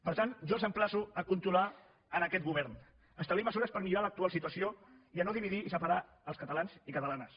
per tant jo els emplaço a controlar en aquest govern establir mesures per millorar l’actual situació i a no dividir i separar els catalans i catalanes